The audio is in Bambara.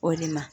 O de ma